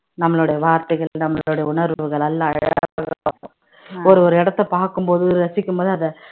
நம்மளுடைய வார்த்தைகள் நம்மளோட உணர்வுகள் நல்லா அழகா ஒரு ஒரு இடத்தை பார்க்கும் போது ரசிக்கும்போது அத